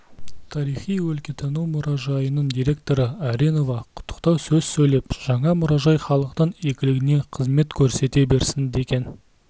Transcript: тарихи-өлкетану мұражайының директоры аренова құттықтау сөз сөйлеп жаңа мұражай халықтың игілігіне қызмет көрсете берсін деген